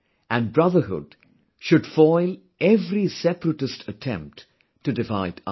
And brotherhood, should foil every separatist attempt to divide us